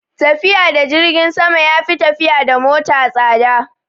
Tafiya da jirgin sama ya fi tafiya da mota tsada